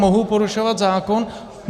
Mohu porušovat zákon?